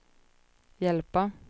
hjälpa